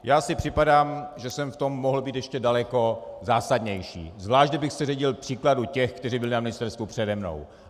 Já si připadám, že jsem v tom mohl být ještě daleko zásadnější, zvlášť kdybych se řídil příkladem těch, kteří byli na ministerstvu přede mnou.